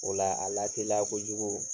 O la a latelila kojugu